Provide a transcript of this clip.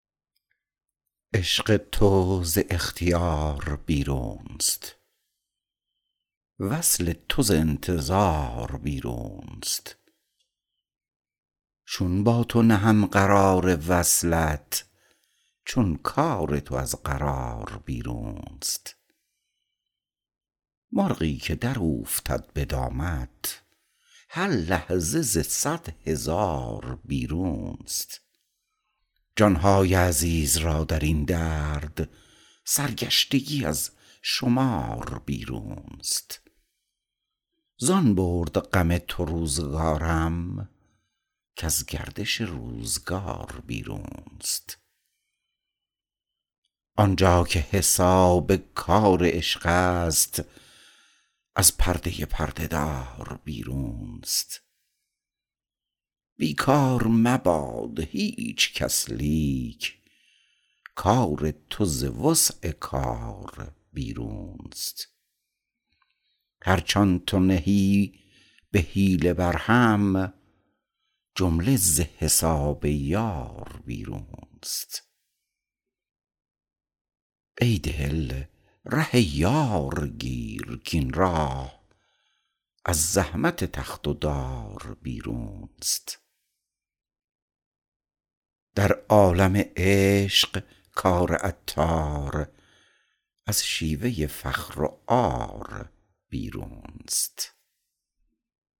عشق تو ز اختیار بیرونست وصل تو ز انتظار بیرونست چون با تو نهم قرار وصلت چون کار تو از قرار بیرونست مرغی که دراوفتد به دامت هر لحظه ز صد هزار بیرون است جان های عزیز را درین درد سرگشتگی از شمار بیرون است زان برد غم تو روزگارم کز گردش روزگار بیرون است آنجا که حساب کار عشق است از پرده پرده دار بیرون است بیکار مباد هیچ کس لیک کار تو ز وسع کار بیرون است هرچ آن تو نهی به حیله برهم جمله ز حساب یار بیرون است ای دل ره یار گیر کین راه از زحمت تخت و دار بیرون است در عالم عشق کار عطار از شیوه فخر و عار بیرون است